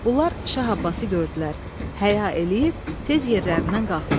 Bunlar Şah Abbası gördülər, həya eləyib tez yerlərindən qalxdılar.